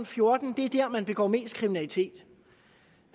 fjorten år der begår mest kriminalitet